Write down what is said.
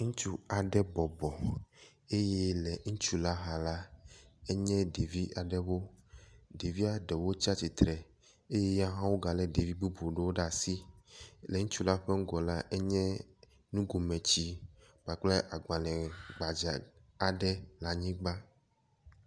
Ŋutsu aɖe bɔbɔ eye le ŋutsu la xa la, enye ɖevi aɖewo. Ɖevia ɖewo tsi atsitre eye ya hawo galé ɖevi bubuwo ɖe asi eye le ŋutsu la ŋgɔ la enye nugome tsi kpakple agbalẽ gbadza aɖe le anyigba.